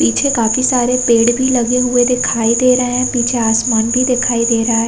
पीछे काफी सारे पेड़ भी लगे हुए दिखाई दे रहे है पीछे आसमान भी दिखाई दे रहा --